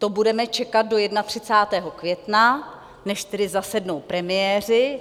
To budeme čekat do 31. května, než tedy zasednou premiéři?